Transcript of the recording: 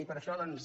i per això doncs